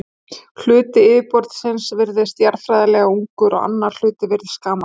Hluti yfirborðsins virðist jarðfræðilega ungur og annar hluti virðist gamall.